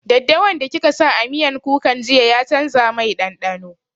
Daɗawan da kika sa a miyan kukan jiya ya canza mai ɗanɗano